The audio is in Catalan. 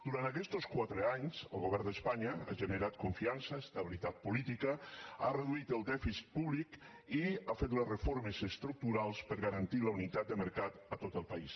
durant aquestos quatre anys el govern d’espanya ha generat confiança estabilitat política ha reduït el dèficit públic i ha fet les reformes estructurals per a garantir la unitat de mercat a tot el país